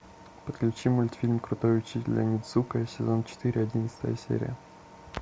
подключи мультфильм крутой учитель онидзука сезон четыре одиннадцатая серия